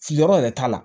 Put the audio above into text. Fili yɔrɔ yɛrɛ t'a la